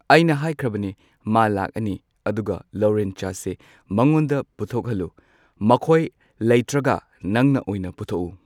ꯑꯩꯅ ꯍꯥꯏꯈ꯭ꯔꯕꯅꯤ ꯃꯥ ꯂꯥꯛꯑꯅꯤ ꯑꯗꯨꯒ ꯂꯧꯔꯦꯟ ꯆꯥꯁꯦ ꯃꯉꯣꯟꯗ ꯄꯨꯊꯣꯛꯍꯜꯂꯨ꯫ ꯃꯈꯣꯏ ꯂꯩꯇ꯭ꯔꯒ ꯅꯪꯅ ꯑꯣꯏꯅ ꯄꯨꯊꯣꯛꯎ꯫